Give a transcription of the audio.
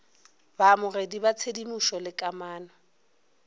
baamogedi ba tshedimošo le kamano